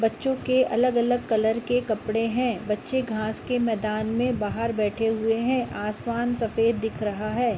बच्चो के अलग-अलग कलर के कपड़े हैं। बच्चे घांस के मैदान में बाहर बैठे हुए हैं। आसमान सफ़ेद दिख रहा है।